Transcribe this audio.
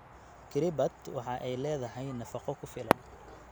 Kiribut waxa ay leedahay nafaqo ku filan.